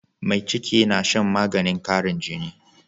Mai ciki na Shan maganin qarin jini